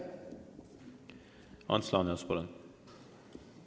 Ants Laaneots, palun!